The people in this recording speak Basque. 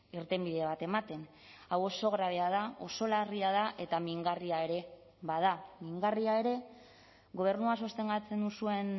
irtenbide bat ematen hau oso grabea da oso larria da eeta mingarria ere bada mingarria ere gobernua sostengatzen duzuen